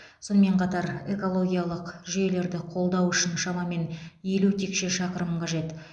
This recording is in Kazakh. сонымен қатар экологиялық жүйелерді қолдау үшін шамамен елу текше шақырым қажет